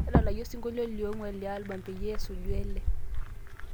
tadalayu osinkolio li onguan le albam peyie esuju ele